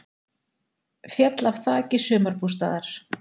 Féll af þaki sumarbústaðar